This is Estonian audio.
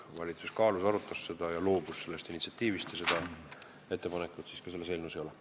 Valitsus kaalus ja arutas seda ning loobus sellest initsiatiivist ja seda ettepanekut ka selles eelnõus ei ole.